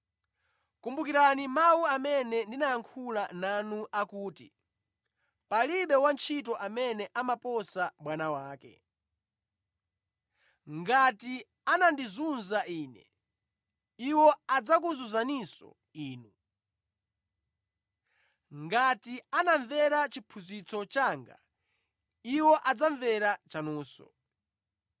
Kumbukirani mawu amene ndinayankhula nanu akuti, ‘Palibe wantchito amene amaposa bwana wake.’ Ngati anandizunza Ine, iwo adzakuzunzaninso inu. Ngati anamvera chiphunzitso changa, iwo adzamvera chanunso.